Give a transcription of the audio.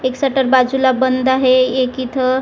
एक सटर बाजूला बंद आहे एक इथं--